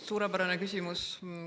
Suurepärane küsimus.